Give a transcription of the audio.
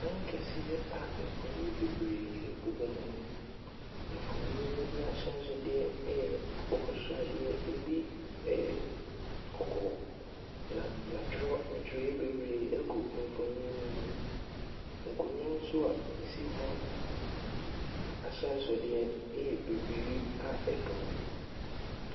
Dan kɛseɛ a mfonin bebree bobɔ mu. Mfonin no bi ahyɛnsodeɛ yɛ akokɔ sradeɛ, ebi yɛ kɔkɔɔ, na wɔatwerɛ ntwerɛeɛ bebree agu mfonin no mu. Nkonnwa nso a ɛsi hɔ ahyɛnsodeɛ yɛ bibiri a adum.